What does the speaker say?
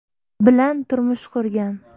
bilan turmush qurgan.